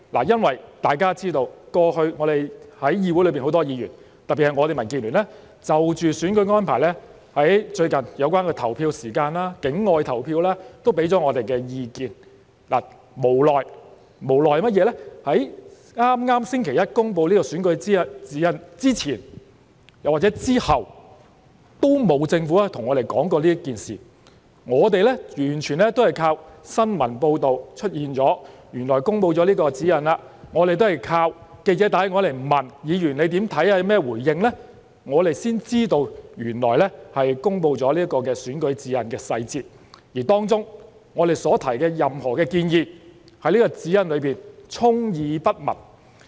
因為大家知道，過去在議會內很多議員，特別是我們民建聯，都有就着選舉安排，例如投票時間、境外投票等提出意見；但無奈地，在剛剛星期一公布的選舉活動指引之前或之後，政府都沒有跟我們談及此事，而我們是完全依靠新聞報道，才知道原來公布了指引，我們都是靠記者致電詢問我們的看法和回應，我們才知道原來已公布了選舉活動指引的細節，而當中我們所提出的任何建議，政府都充耳不聞，沒有出現在這份指引內。